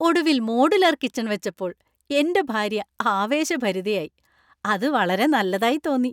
ഒടുവിൽ modular kitchen‍ വെച്ചപ്പോൾ എന്‍റെ ഭാര്യ ആവേശഭരിതയായി. അത് വളരെ നല്ലതായി തോന്നി!